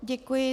Děkuji.